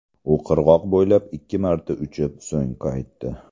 U qirg‘oq bo‘ylab ikki marta uchib, so‘ng qaytdi.